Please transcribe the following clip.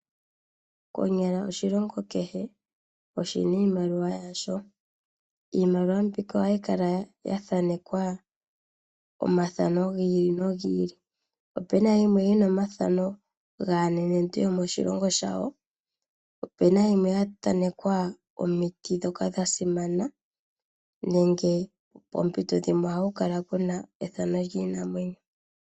Konyala oshilongo kehe oshina iimaliwa yasho. Iimaliwa mbika ohayi kala ya thaanekwa omathano gi ili no gi ili. Opena yimwe yina omathano gaa nenentu yomoshilongo shawo, opena yimwe ya thaanekwa omiti dhoka dha simana nenge poomito dhimwe oha ku kala kuna ethano lyiinamwenyo.